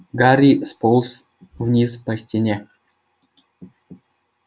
гарри сполз вниз по стене